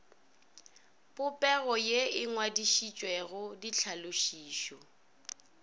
popego ye e ngwadišitšwego ditlhalošišo